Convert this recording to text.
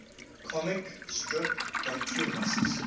comic strip cartoonists